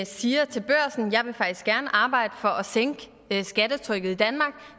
siger til børsen jeg vil faktisk gerne arbejde for at sænke skattetrykket i danmark